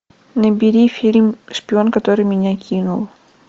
набери фильм шпион который меня кинул